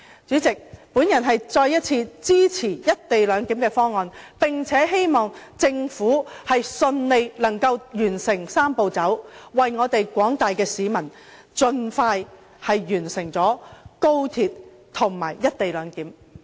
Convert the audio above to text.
主席，我再次表示支持"一地兩檢"方案，並希望政府順利完成"三步走"，為廣大市民盡快完成高鐵和"一地兩檢"。